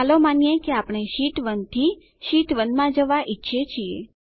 ચાલો માનીએ કે આપણે શીટ 1 થી શીટ 2 માં જવા ઈચ્છીએ છીએ